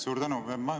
Suur tänu!